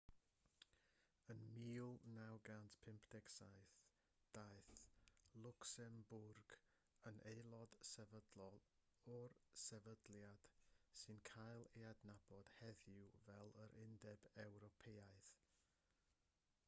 yn 1957 daeth lwcsembwrg yn aelod sefydlol o'r sefydliad sy'n cael ei adnabod heddiw fel yr undeb ewropeaidd